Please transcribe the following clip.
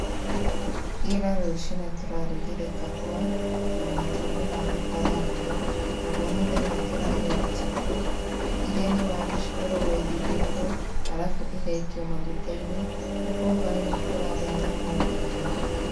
Ira rũciinĩ tũrarugire kahũa na matumbĩ ma gũkarangwo, naguo mũthenya tũrarĩa chipo iria nĩ waru cikoragwo ithigĩtwo arabu igaikio magũta-inĩ, naguo hwaĩ-inĩ tũrarĩa nyama na ngima.